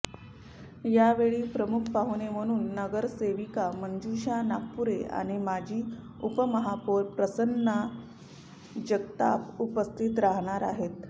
यावेळी प्रमुख पाहुणे म्हणून नगरसेविका मंजुषा नागपूरे आणि माजी उपमहापौर प्रसन्न जगताप उपस्थित राहणार आहेत